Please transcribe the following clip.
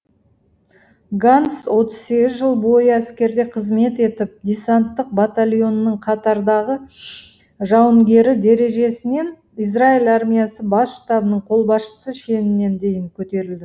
ганц отыз сегіз жыл бойы әскерде қызмет етіп десанттық батальонның қатардағы жауынгері дәрежесінен израиль армиясы бас штабының қолбасшысы шеніне дейін көтерілді